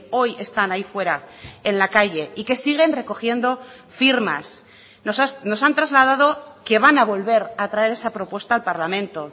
hoy están ahí fuera en la calle y que siguen recogiendo firmas nos han trasladado que van a volver a traer esa propuesta al parlamento